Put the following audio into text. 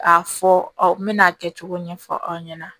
A fɔ aw mɛna a kɛ cogo ɲɛfɔ aw ɲɛna